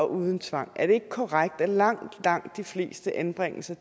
uden tvang og er det ikke korrekt at langt langt de fleste anbringelser